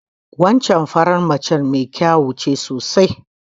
Wancan faran mace mai ƙiwuya ce sosai.